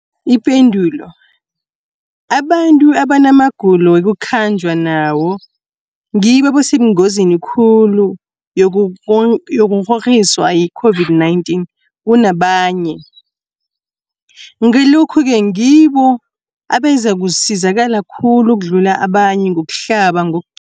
Ipendulo, abantu abanamagulo ekukhanjwa nawo ngibo abasengozini khulu yokukghokghiswa yi-COVID-19 kunabanye, Ngalokhu-ke ngibo abazakusizakala khulu ukudlula abanye ngokuhlaba, ngo